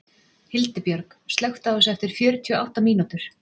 Hildibjörg, slökktu á þessu eftir fjörutíu og átta mínútur.